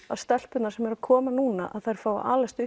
að stelpurnar sem eru að koma núna fái að alast